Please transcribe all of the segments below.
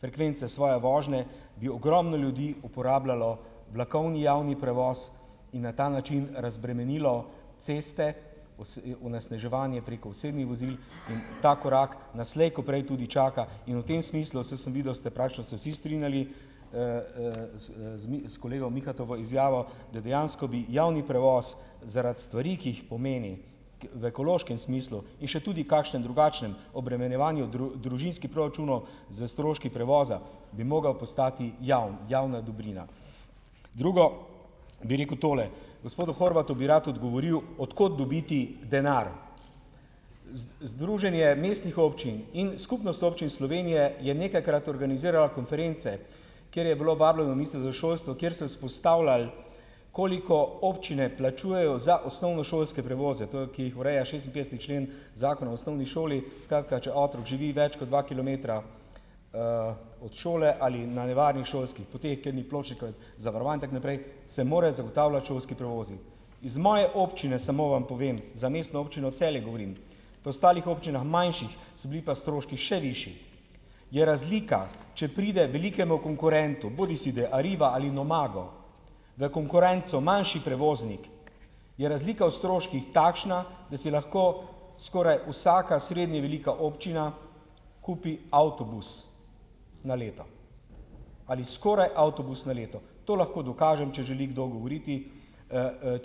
frekvence svoje vožnje, ki ogromno ljudi uporabljalo vlakovni javni prevoz in na ta način razbremenilo ceste, onesnaževanje preko osebnih vozil in ta korak nas slej ko prej tudi čaka in v tem smislu, se sem videl, ste praktično se vsi strinjali, z s kolega Mihatovo izjavo, da dejansko bi javni prevoz zaradi stvari, ki jih pomeni, v ekološkem smislu in še tudi kakšen drugačen obremenjevanju družinskih proračunov s stroški prevoza, bi mogel postati javen. Javna dobrina. Drugo bi rekel tole. Gospodu Horvatu bi rad odgovoril, od kot dobiti denar. Združenje mestnih občin in Skupnost občin Slovenije je nekajkrat organiziralo konference, ker je bilo vabljeno za šolstvo, kjer so izpostavljali, koliko občine plačujejo za osnovnošolske prevoze ki jih ureja šestinpetdeseti člen Zakona o osnovni šoli. Skratka, če otrok živi več kot dva kilometra, od šole ali na nevarnih šolskih poteh, kjer ni pločnikov in zavarovan, tako naprej, se morajo zagotavljati šolski prevozi. Z moje občine samo vam povem, za Mestno občino Celje govorim, pri ostalih občinah, manjših, so bili pa stroški še višji. Je razlika, če pride velikemu konkurentu, bodisi da je Arriva ali Nomago, v konkurenco manjši prevoznik, je razlika v stroških takšna, da si lahko skoraj vsaka srednje velika občina kupi avtobus na leto. Ali skoraj avtobus na leto. To lahko dokažem, če želi kdo govoriti,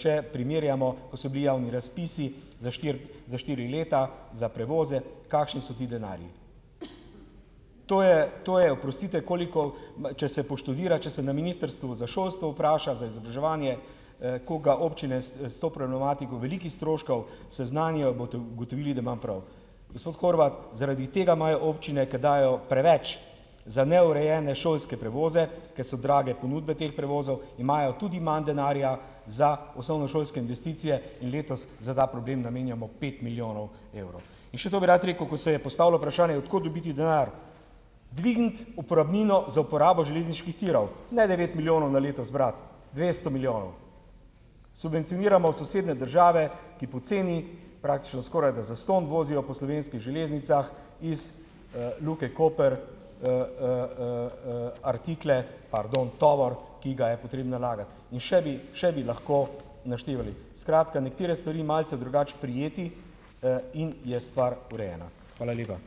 če primerjamo, ko so bili javni razpisi za štiri, za štiri leta za prevoze, kakšni so ti denarji. To je, to je, oprostite, koliko pa, če se poštudira, če se na Ministrstvu za šolstvo vpraša, za izobraževanje, koliko ga občine s to problematiko velikih stroškov seznanijo, boste ugotovili, da imam prav. Gospod Horvat, zaradi tega imajo občine, ker dajejo preveč za neurejene šolske prevoze, ker so drage ponudbe teh prevozov, imajo tudi manj denarja za osnovnošolske investicije in letos za ta problem namenjamo pet milijonov evrov. In še to bi rad rekel, ko se je postavilo vprašanje, od kot dobiti denar. Dvigniti uporabnino za uporabo železniških tirov, ne, devet milijonov na leto zbrati, dvesto milijonov. Subvencioniramo sosednje države, ki poceni, praktično skoraj da zastonj vozijo po slovenskih železnicah iz, Luke Koper, artikle, pardon , tovor, ki ga je potrebno nalagati, in še bi, še bi lahko naštevali. Skratka, nekatere stvari malce drugače prijeti, in je stvar urejena . Hvala lepa .